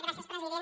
gràcies president